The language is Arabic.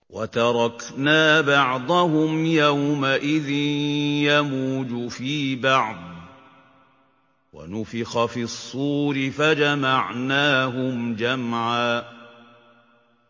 ۞ وَتَرَكْنَا بَعْضَهُمْ يَوْمَئِذٍ يَمُوجُ فِي بَعْضٍ ۖ وَنُفِخَ فِي الصُّورِ فَجَمَعْنَاهُمْ جَمْعًا